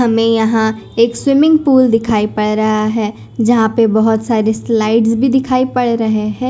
हमें यहां एक स्विमिंग पूल दिखाई पड़ रहा है। जहां पे बहोत सारे स्लाइड्स भी दिखाई पड़ रहे हैं।